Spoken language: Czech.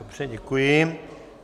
Dobře, děkuji.